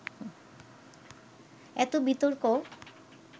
এত বিতর্ক